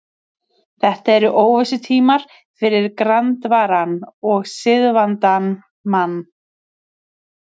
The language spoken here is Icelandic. Þetta eru óvissutímar fyrir grandvaran og siðavandan mann.